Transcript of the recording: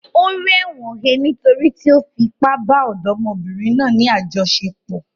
O ri ẹ̀wọ̀n he nítorí tí ó fi ipá bá ọ̀dọ́mọbìnrin náà ní àjọṣepọ̀.